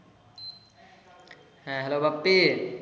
হ্যাঁ, Hello বাপ্পি।